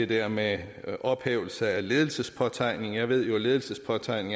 der med ophævelse af ledelsespåtegning jeg ved jo at ledelsespåtegning